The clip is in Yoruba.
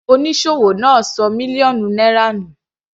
Onísòwò náà ṣọ mílíọ̀nù náírà nù.